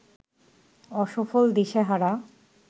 অসফল, দিশেহারা